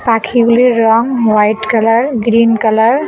পাখিগুলির রং white colour green colour.